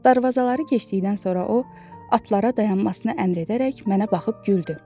darvazaları keçdikdən sonra o, atlara dayanmasına əmr edərək mənə baxıb güldü.